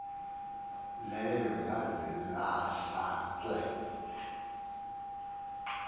leyo yazilahla ke